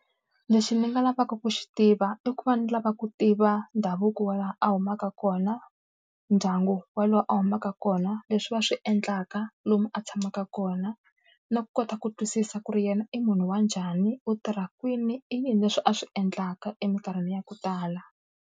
Lexi ni nga lavaka ku xi tiva i ku va ni lava ku tiva ndhavuko wa laha a humaka kona, ndyangu wolowo a humaka kona, leswi va swi endlaka, lomu a tshamaka kona. Na ku kota ku twisisa ku ri yena i munhu wa njhani, u tirha kwini, i yini leswi a swi endlaka eminkarhini ya ku tala.